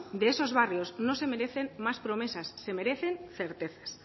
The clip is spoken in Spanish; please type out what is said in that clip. de esos barrios no se merecen más promesas se merecen certezas